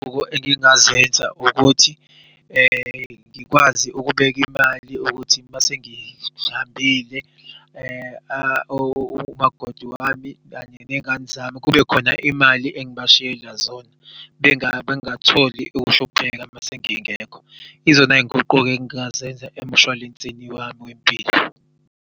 Engingazenza ukuthi ngikwazi ukubek'imali ukuthi masengihambile umakoti wami kanye nengani zami kubekhona imali engibashiyela zona. Bengatholi ukuhlupheka mesengingekho izona nguquko engingazenza emshwalenseni wami wempilo.